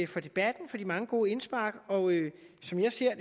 for debatten for de mange gode indspark og som jeg ser